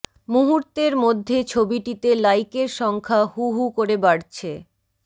মুহূর্তের মধ্যে ছবিটিতে লাইকের সংখ্যা হু হু করে বাড়ছে